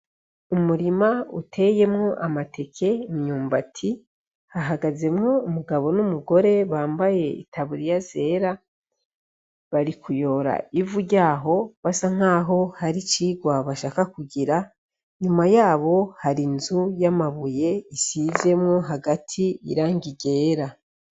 Umurima uteyemwo amateke ,imyumba hahagazemwo umugabo n'umugore, bambaye itaburiya zera bari kuyora ivu ryaho basa nkaho hari cigwa bashaka kugira, nyuma yabo hari inzu y'amabuye isizemwo hagati irangi ryera.